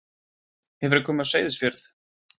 Hefurðu komið á Seyðisfjörð?